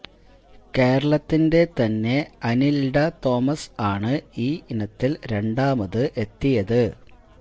കേരളത്തിന്റെ തന്നെ അനില്ഡ തോമസ് ആണ് ഈ ഇനത്തില് രണ്ടാമത് എത്തിയത്